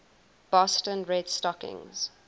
boston red stockings